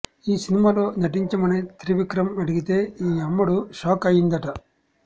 ఈ సినిమాలో నటించమని త్రివిక్రమ్ అడిగితె ఈ అమ్మడు షాక్ అయ్యిందట